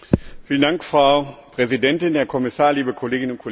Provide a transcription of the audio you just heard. Frau Präsidentin, Herr Kommissar, liebe Kolleginnen und Kollegen!